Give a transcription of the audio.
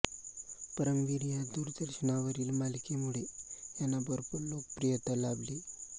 परमवीर या दूरदर्शनावरील मालिकेमुळे यांना भरपूर लोकप्रियता लाभली